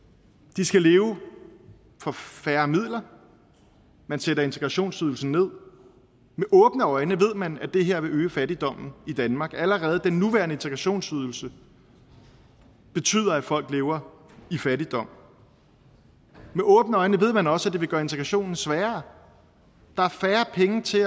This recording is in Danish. de skal leve for færre midler man sætter integrationsydelsen nederst med åbne øjne ved man at det her vil øge fattigdommen i danmark allerede den nuværende integrationsydelse betyder at folk lever i fattigdom med åbne øjne ved man også at det vil gøre integrationen sværere der er færre penge til